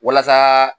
Walasa